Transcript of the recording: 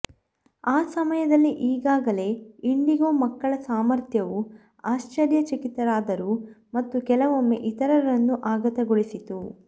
ಆ ಸಮಯದಲ್ಲಿ ಈಗಾಗಲೇ ಇಂಡಿಗೊ ಮಕ್ಕಳ ಸಾಮರ್ಥ್ಯವು ಆಶ್ಚರ್ಯಚಕಿತರಾದರು ಮತ್ತು ಕೆಲವೊಮ್ಮೆ ಇತರರನ್ನು ಆಘಾತಗೊಳಿಸಿತು